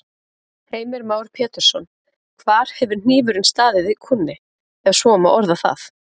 Heimir Már Pétursson: Hvar hefur hnífurinn staðið í kúnni, ef svo má orða það?